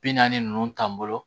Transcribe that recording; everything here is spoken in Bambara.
Bi naani ninnu t'an bolo